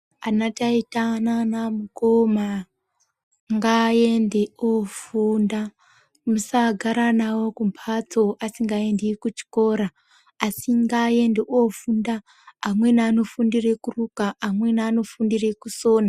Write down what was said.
Ana taita nanamukoma ngaende ofunda musagara navo asingaendi kuchikora asi ngaende ofunda amweni anofundire kuruka amweni anofundire kusona.